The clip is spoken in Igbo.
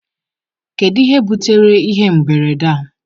kedu ihe butere ihe mberede a?